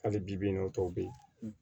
Hali bi bi in na o tɔ bɛ yen